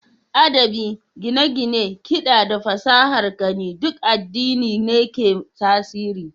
Adabi, gine-gine, kiɗa, da fasahar gani duk addini ne ke tasiri.